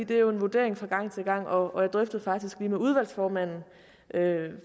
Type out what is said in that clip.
det er en vurdering fra gang til gang og jeg drøftede det faktisk lige med udvalgsformanden